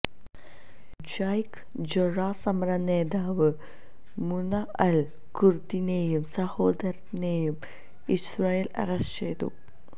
Sheikh Jarrah സമരനേതാവ് Muna al കുര്ദിനെയും സഹോദരനെയും ഇസ്രായേല് അറസ്റ്റ് ചെയ്തു